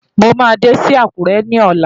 Mo máa dé sí Àkúrẹ́ ní ọ̀la.